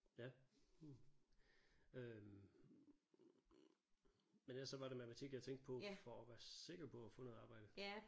Ja øh men ellers så var det matematik jeg tænkte på for at være sikker på at få noget arbejde